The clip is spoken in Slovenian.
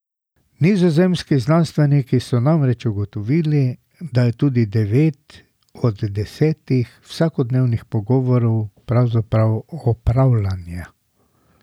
Nizozemski znanstveniki so namreč ugotovili, da je tudi devet od desetih vsakodnevnih pogovorov pravzaprav opravljanje.